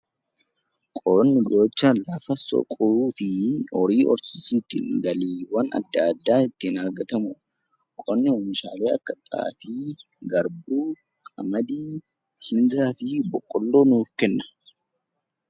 Qonni gocha lafa soquu fi horii horsiisuutiin galiiwwan adda addaa ittiin argatamudha. Qonni oomishaalee akka xaafii, garbuu, qamadii, bishingaa fi boqqolloo nuuf kenna.